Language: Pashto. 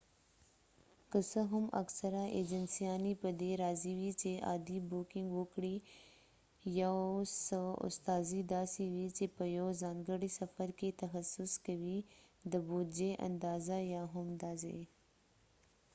که څه هم اکثره ایجنسیانی په دي راضی وي چې عادي بوکنګ وکړي یو څه استازي داسې وي چې په یو ځانګړی سفر کې تخصص کوي د بودجې اندازه یا هم د ځای